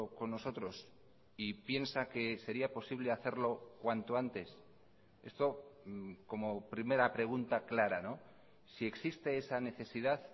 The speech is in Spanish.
con nosotros y piensa que sería posible hacerlo cuanto antes esto como primera pregunta clara si existe esa necesidad